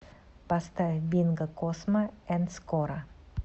поставь бинго космо энд скоро